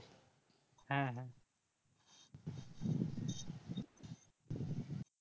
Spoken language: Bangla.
হ্যাঁ হ্যাঁ